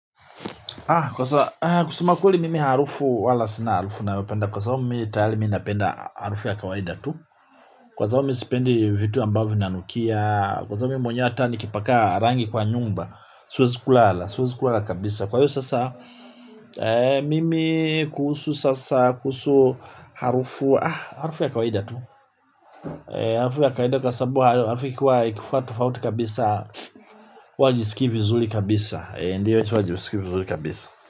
Iko sawa aah kusema ukweli mimi harufu wala sina harufu nayopenda kwa sababu mimi tayari napende harufu ya kawaida tu kwa sababu mimi sipendi vitu ambavyo vinanukia kwa sababu hata mimi mwenyewe nikipaka rangi kwa nyumba siwezi kulala siwezi kulala kabisa kwa hiyo sasa ee mimi kuhusu sasa kuhusu aah harufu ya kawaida tu harufu ya kawaida kwa sababu hayo harufu ikiwa tofauti kabisa huwa sijiskii vizuri kabisaa ee ndio chonjo siskii vizuri kabisa.